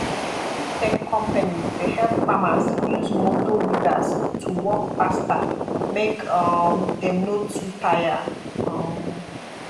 agritech companies dey help farmers use motor weeders to work faster make um dem no too tire um